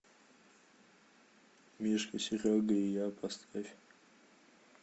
мишка серега и я поставь